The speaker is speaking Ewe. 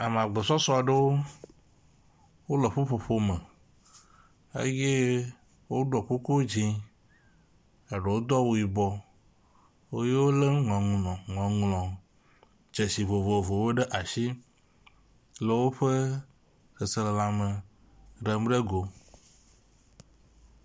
Ame agbɔsɔsɔaɖewo wóle ƒuƒoƒo me eye woɖɔ kuku dzĩ eɖewo dó awu yibɔ ye wóle ŋɔŋlɔ ŋɔŋlɔdzesi vovovowo ɖe asi le wóƒe seselelãme ɖem ɖe go